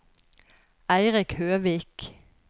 Eirik Høvik